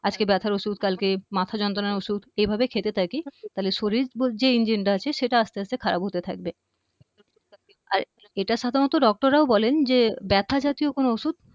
আজকে ব্যথার ঔষধ কালকে মাথা যন্ত্রণার ঔষধ এভাবে খেতে থাকি তাহলে শরীর যে engine টা আছে সেটা আস্তে আস্তে খারাপ হতে থাকবে আর এটা সাধারণত doctor রাও বলেন যে ব্যথা জাতীয় কোন ঔষধ